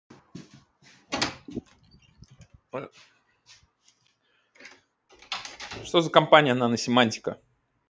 что за компания наносемантика